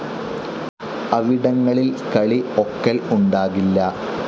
അവിടങ്ങളിൽ കളി ഒക്കൽ ഉണ്ടാകില്ല.